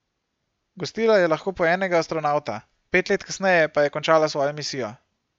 Gostila je lahko po enega astronavta, pet let kasneje pa je končala svojo misijo.